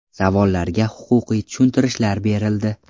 Savollarga huquqiy tushuntirishlar berildi.